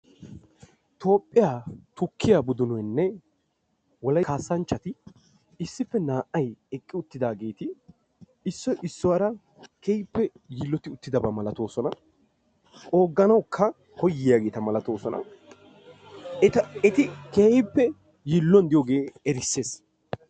toophphiya tukkiya Tiransporttiyaanne kaamiya ha asati cadiidi de'iyo koyro tokketidaagee de'iyo koyro go'iya gididi erissees.